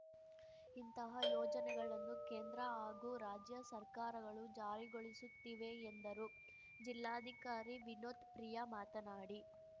ಇಂತಹ ಯೋಜನೆಗಳನ್ನು ಕೇಂದ್ರ ಹಾಗೂ ರಾಜ್ಯ ಸರ್ಕಾರಗಳು ಜಾರಿಗೊಳಿಸುತ್ತಿವೆ ಎಂದರು ಜಿಲ್ಲಾಧಿಕಾರಿ ವಿನೋತ್‌ ಪ್ರಿಯಾ ಮಾತನಾಡಿ